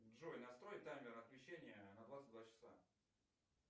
джой настрой таймер отключения на двадцать два часа